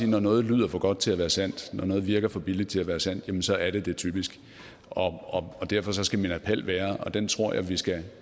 når noget lyder for godt til at være sandt når noget virker for billigt til at være sandt så er det det typisk derfor skal min appel være og den tror jeg vi skal